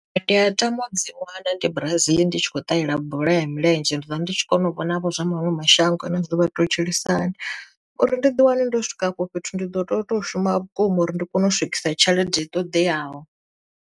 Ndi a tama u dzi wana ndi Brazil ndi tshi kho ṱalela bola ya milenzhe ndi vha ndi tshi kona u vhona vho zwa maṅwe mashango a nnḓa zwino vha to tshilisa hani, uri ndi ḓi wane ndo swika afho fhethu ndi ḓo to to shuma vhukuma uri ndi kone u swikisa tshelede ṱoḓeaho.